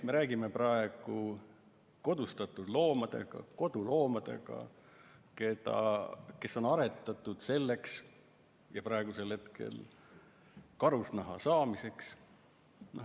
Me räägime praegu kodustatud loomadest, kes on aretatud selleks, et karusnahka saada.